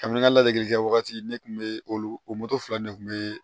Kabini n ka ladege kɛ wagati ne kun be olu fila ne kun be